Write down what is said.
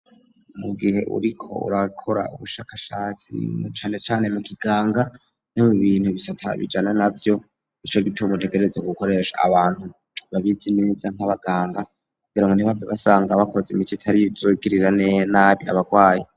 Mu gihe uriko urakora ubushakashatsi na cane cane mu kiganga ni mu bintu bisata bijana nabyo ico giteumutegereza k gukoresha abantu babizi neza nk'abaganga kugira ngo ntibabyo basanga bakoze imici itari izugirirane nabi abagwaye.